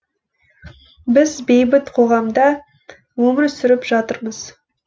біз бейбіт қоғамда өмір сүріп жатырмыз